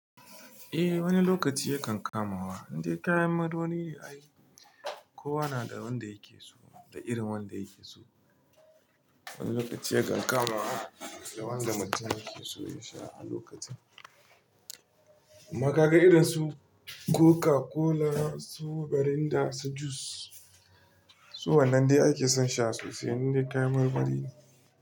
Eh wani lokaci yakan kamawa, indai kayan marmari yayi ai kowa na da wanda yake so da irin wanda yake so. Wani lokaci yakan kamawa da wanda mutum yake so yasha a lokacin. Kuma ka ga irin su Coca-Cola, su Garinda, su Juice, su wannan dai ake son sha sosai indai kayan marmari ne.